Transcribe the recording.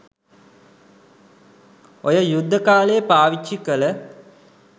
ඔය යුද්ධ කාලේ පාවිච්චි කල